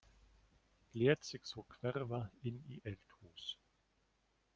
Lét sig svo hverfa inn í eldhús.